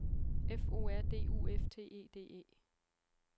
F O R D U F T E D E